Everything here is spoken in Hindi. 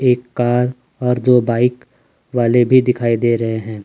एक कार और दो बाइक वाले भी दिखाई दे रहे हैं।